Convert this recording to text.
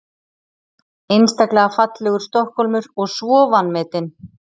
Einstaklega fallegur Stokkhólmur og svo vanmetinn.